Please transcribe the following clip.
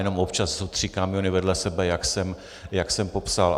Jenom občas jsou tři kamiony vedle sebe, jak jsem popsal.